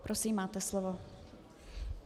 Prosím, máte slovo.